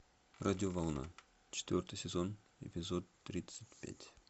радиоволна четвертый сезон эпизод тридцать пять